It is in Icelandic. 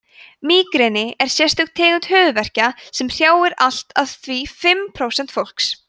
mígreni er sérstök tegund höfuðverkja sem hrjáir allt að því fimm prósent fólks